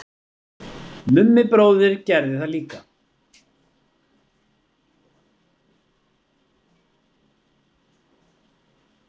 Mummi bróðir gerði það líka.